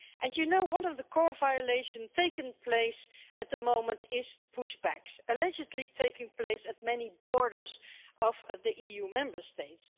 You know, one of the core violations taking place at the moment is push-backs, allegedly taking place at many borders of the EU Member States.